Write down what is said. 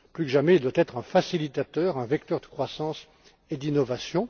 Plus que jamais, il doit être un facilitateur, un vecteur de croissance et d'innovation.